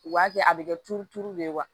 U b'a kɛ a bɛ kɛ turuturu de ye wa